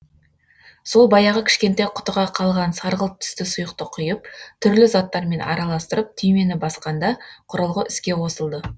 сол баяғы кішкентай құтыға қалған сарғылт түсті сұйықты құйып түрлі заттармен араластырып түймені басқанда құрылғы іске қосылды